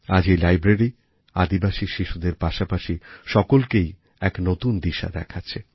আজ এই লাইব্রেরি আদিবাসী শিশুদের পাশাপাশি সকলকেই এক নতুন দিশা দেখাচ্ছে